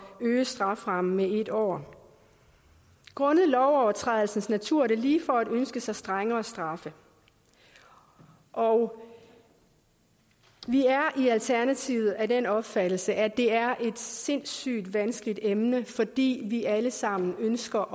at øge straframmen med en år grundet lovovertrædelsens natur er det lige for at ønske sig strengere straffe og vi er i alternativet af den opfattelse at det er et sindssygt vanskeligt emne fordi vi alle sammen ønsker